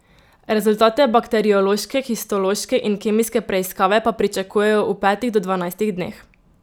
Rezultate bakteriološke, histološke in kemijske preiskave pa pričakujejo v petih do dvanajstih dneh.